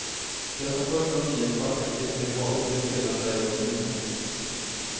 Det som först var nio svarta klippor i havet blev sedan berg av blommor.